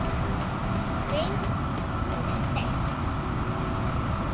Greind og sterk.